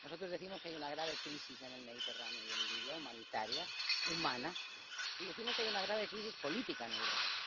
Nosotros decimos que hay una grave crisis en el Mediterráneo y en Libia, humanitaria, humana, y decimos que hay una grave crisis política en Europa.